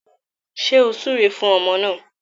Ṣé ó súre fún ọmọ náà?